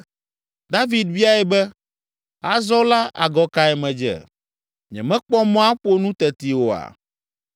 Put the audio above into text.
David biae be, “Azɔ la agɔ kae medze? Nyemekpɔ mɔ aƒo nu tete oa?”